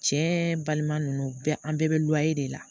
Cɛ balima ninnu bɛɛ an bɛɛ bɛ de la